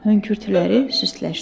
Hönkürtüləri süstləşdi.